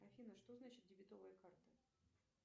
афина что значит дебетовая карта